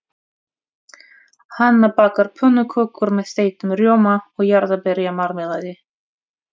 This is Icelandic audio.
Hanna bakar pönnukökur með þeyttum rjóma og jarðarberjamarmelaði.